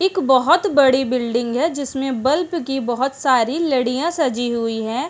एक बहौत बड़ी बिल्डिंग है जिसमे बल्ब की बहुत सारी लड़िया सजी हुई हैं।